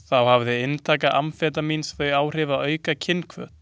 Þá hefði inntaka amfetamíns þau áhrif að auka kynhvöt.